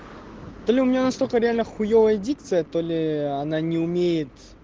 то ли у меня настолько реально хуевая дикция то ли она не умеет